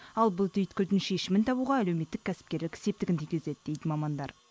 ал бұл түйткілдің шешімін табуға әлеуметтік кәсіпкерлік септігін тигізеді дейді мамандар